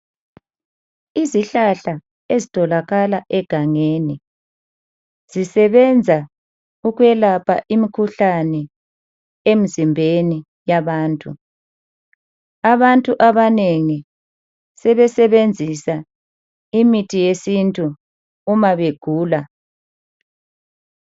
Izihlahla ezitholakala egangeni zisebenza ukwelapha imikhuhlane emzimbeni yabantu. Abantu abanengi sebesebenzisa imithi yesintu uma begula.